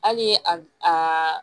Hali a a